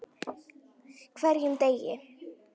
HVERJUM DEGI!